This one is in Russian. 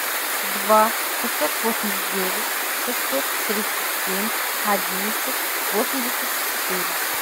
два шестьсот восемьдесят девять шестьсот тридцать семь одиннадцать восемьдесят четыре